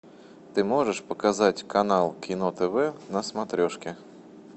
ты можешь показать канал кино тв на смотрешке